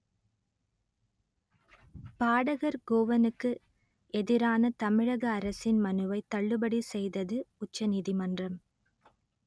பாடகர் கோவனுக்கு எதிரான தமிழக அரசின் மனுவை தள்ளுபடி செய்தது உச்ச நீதிமன்றம்